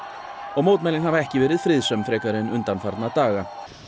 og mótmælin hafa ekki verið friðsöm frekar en undanfarna daga